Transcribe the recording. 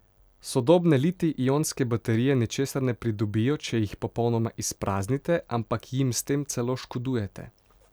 Sodobne litij ionske baterije ničesar ne pridobijo, če jih popolnoma izpraznite, ampak jim s tem celo škodujete.